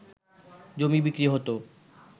জমি বিক্রি হতো